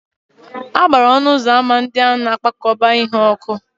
A gbara ọnụ ụzọ ámá ndị a na-akpakọba ihe ọkụ.